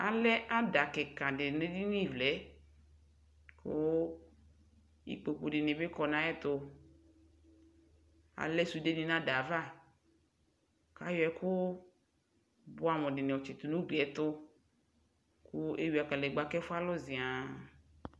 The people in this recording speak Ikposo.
alɛ ada kika di nu edini vlɛ ku ikpoku dini bi kɔ na yɛ tu alɛ sude bi n'ada va k'ayɔ ɛku buamu diniɔ tchitu nu uglie tu ku eyua kanegba ku ɛfuɛ lu zian